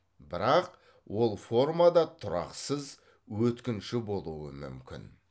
бірақ ол форма да тұрақсыз өткінші болуы мүмкін